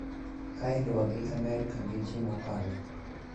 Ka iluwo gi Amerka gi ji mokalo